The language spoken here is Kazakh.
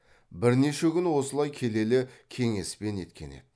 бірнеше күн осылай келелі кеңеспен еткен еді